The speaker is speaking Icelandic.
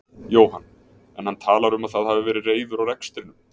Jóhann: En hann talar um að það hafi verið reiður á rekstrinum?